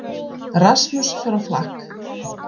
Rasmus fer á flakk